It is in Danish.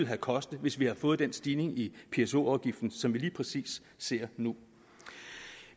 have kostet hvis vi havde fået den stigning i pso afgiften som vi lige præcis ser nu